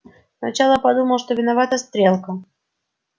сначала подумал что виновата стрелка